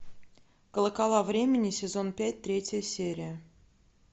колокола времени сезон пять третья серия